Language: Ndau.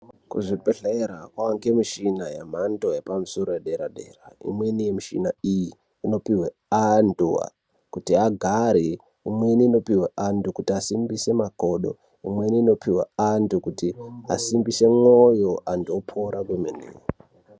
Kuzvibhedhlera kwawa ngemichhina yemphando yepamusoro, yedera-dera. Imweni michhina iyi inopuhwe anthu kuti agare, imweni inopihwa antu kuti inosimbise makodo, imweni inopuhwe anthu kuti asimbise mwoyo, anthu opora kwemene.